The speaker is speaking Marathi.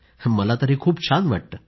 मला तर हे खूप छान वाटतं